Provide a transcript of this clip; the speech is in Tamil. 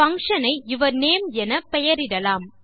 பங்ஷன் ஐ யூர்னமே என பெயரிடலாம்